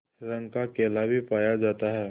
रंग का केला भी पाया जाता है